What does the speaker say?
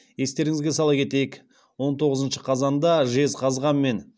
естеріңізге сала кетейік он тоғызыншы қазанда жезқазған мен